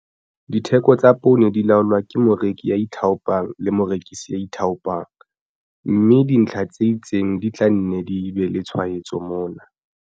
Ditheko tsa poone di laolwa ke moreki ya ithaopang le morekisi ya ithaopang, mme dintlha tse itseng di teng tse tla nne di be le tshwaetso mona.